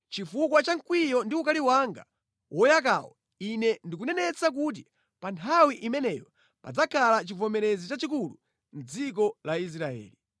Chifukwa cha mkwiyo ndi ukali wanga woyakawo Ine ndikunenetsa kuti pa nthawi imeneyo padzakhala chivomerezi chachikulu mʼdziko la Israeli.